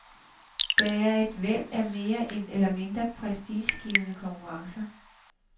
Der er et væld af mere eller mindre prestigegivende konkurrencer.